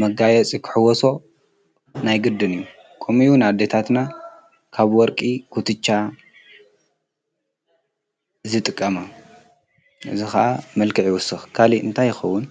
መጋየ ጽክሕዎሶ ናይ ግድን እዩ ኮሚዩ ኣደታትና ካብ ወርቂ ኽትጫ ዝጥቀመ እዝኸዓ መልከዕ ይወስኽ ካሊ እንታይይኸውን?